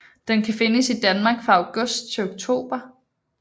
Den kan findes i Danmark fra august til oktober